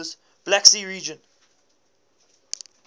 black sea region